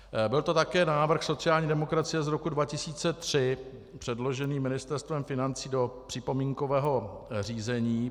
Byl to také návrh sociální demokracie z roku 2003, předložený Ministerstvem financí do připomínkového řízení.